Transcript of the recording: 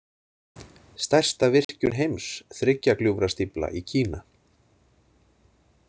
Stærsta virkjun heims, Þriggja gljúfra stífla í Kína.